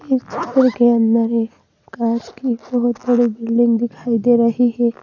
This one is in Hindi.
इस चित्र के अंदर एक कांच की बहुत बड़ी बिल्डिंग दिखाई दे रही है।